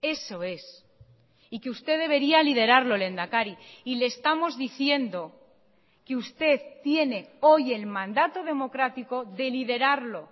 eso es y que usted debería liderarlo lehendakari y le estamos diciendo que usted tiene hoy el mandato democrático de liderarlo